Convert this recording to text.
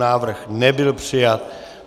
Návrh nebyl přijat.